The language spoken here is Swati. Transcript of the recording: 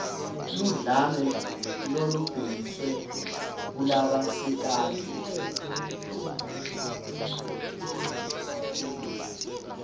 ludlame lolubhekiswe kulabasikati